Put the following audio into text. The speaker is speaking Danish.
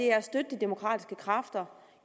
er at støtte de demokratiske kræfter